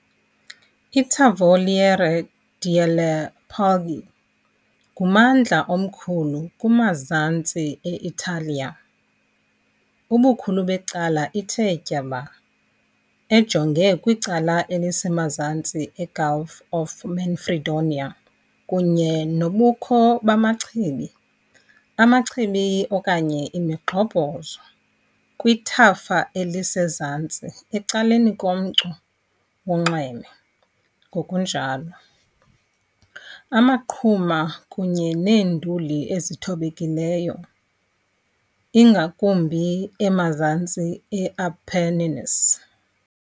ITavoliere delle Puglie ngummandla omkhulu kumazantsi e-Italiya, ubukhulu becala ithe tyaba, ejonge kwicala elisemazantsi eGulf of Manfredonia kunye nobukho bamachibi, amachibi okanye imigxobhozo, kwithafa elisezantsi, ecaleni komcu wonxweme, ngokunjalo. amaqhuma kunye neenduli ezithobekileyo, ingakumbi emazantsi e- Apennines.